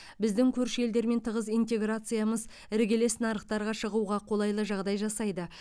біздің көрші елдермен тығыз интеграциямыз іргелес нарықтарға шығуға қолайлы жағдай жасайды